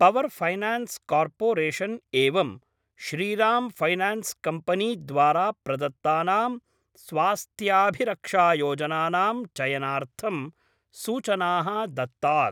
Power finance corporation एवं Shriram finance company द्वारा प्रदत्तानां स्वास्थ्याभिरक्षायोजनानां चयनार्थं सूचनाः दत्तात्।